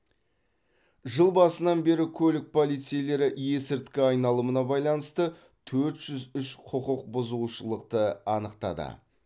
жыл басынан бері көлік полицейлері есірткі айналымына байланысты төрт жүз үш құқық бұзушылықты анықтады